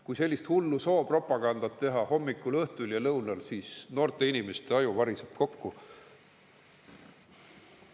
Kui sellist hullu soopropagandat teha hommikul, õhtul ja lõunal, siis noorte inimeste aju variseb kokku.